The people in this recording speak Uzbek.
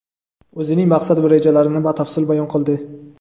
o‘zining maqsad va rejalarini batafsil bayon qildi.